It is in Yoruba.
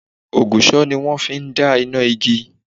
Ògùsò ni wón fi n dá iná igi